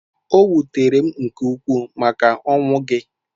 O wutere m nke ukwuu maka ọnwụ gị.